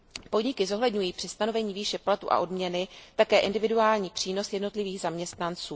Podniky zohledňují při stanovení výše platu a odměny také individuální přínos jednotlivých zaměstnanců.